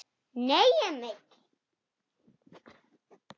Nei, Emil!